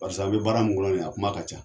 Barisa a be baara min kɔnɔ nin ye a kuma ka ca